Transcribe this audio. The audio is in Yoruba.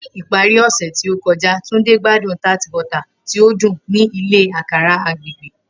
Ni ipari ose to kọja, Tunde gbadun tart bota ti o dun ni ile akara agbegbe.